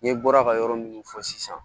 N ye bɔra ka yɔrɔ minnu fɔ sisan